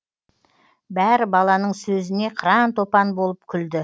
бәрі баланың сөзіне қыран топан болып күлді